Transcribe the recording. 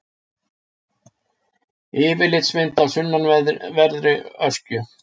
Yfirlitsmynd af sunnanverðri Öskju.